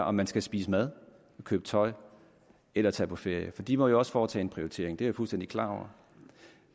om man skal spise mad og købe tøj eller tage på ferie for de må jo også foretage en prioritering det er jeg fuldstændig klar over